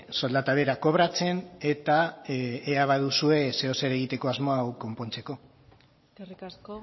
soldata bera kobratzen eta ea baduzue zeozer egiteko asmoa hau konpontzeko eskerrik asko